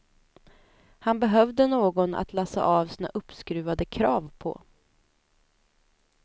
Han behövde någon att lassa av sina uppskruvade krav på.